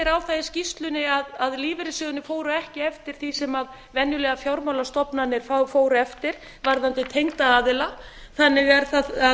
það í skýrslunni að lífeyrissjóðirnir fóru ekki eftir því sem venjulegar fjármálastofnanir fóru eftir varðandi tengda aðila þannig er það